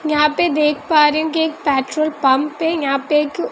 यहां पे देख पा री हुँ कि एक पेट्रोल पंप है यहां पे एक --